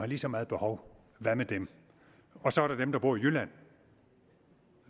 lige så meget behov hvad med dem og så er der dem der bor i jylland og